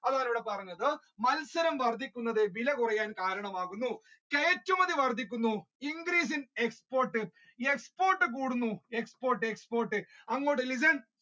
അതാണ് ഇവിടെ പറഞ്ഞത് മത്സരം വർധിക്കുന്നത് വില കുറയാൻ കാരണം ആകുന്നു കയറ്റുമതി വർധിക്കുന്നു increase in export, export കൂടുന്നു export, export, export അങ്ങോട്ട് listen